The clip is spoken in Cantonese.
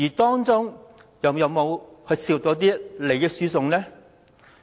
當中有沒有涉及利益輸送？